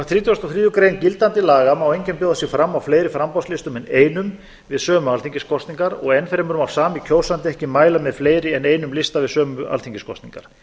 og þriðju grein gildandi laga má enginn bjóða sig fram á fleiri framboðslistum en einum við sömu alþingiskosningar og enn fremur má sami kjósandi ekki mæla með fleiri en einum lista við sömu alþingiskosningar